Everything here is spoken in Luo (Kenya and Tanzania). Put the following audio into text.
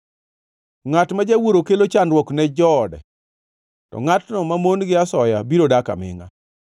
Ngʼat ma jawuoro kelo chandruok ne joode, to ngʼatno mamon gi asoya biro dak amingʼa.